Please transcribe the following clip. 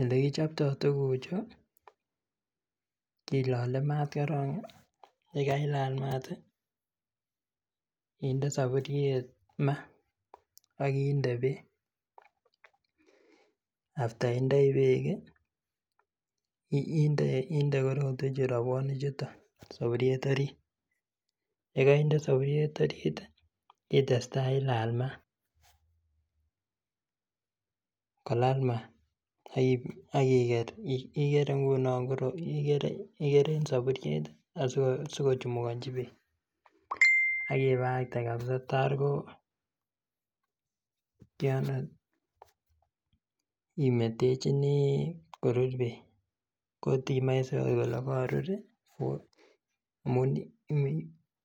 Ole kichopto tuguchu, kilole maat koron, yekailal maat inde soburiet maa akinde beek after keinde beek inde robwonik chuton soburiet orit ako yekoinde soburiet orit itestai ilal maat sikotesta kolal maat. Ikeren soburiet sikochumukonji beek akibakakte kabisa tar ko .Kotimoe iswe kole korur ko